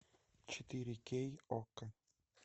четыре кей окко